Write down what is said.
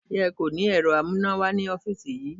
Ṣé ẹ kò ní ẹ̀rọ amúnáwá ní ọ́fíìsì yí?